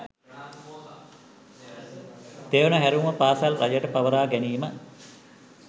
තෙවන හැරවුම පාසල් රජයට පවරා ගැනීම